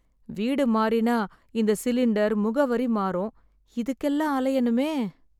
வீடு மாறினா இந்த சிலிண்டர், முகவரி மாறும். இதுக்கெல்லாம் அலையணுமே.